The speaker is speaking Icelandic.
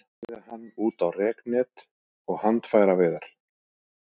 Ég gerði hann út á reknet og handfæraveiðar.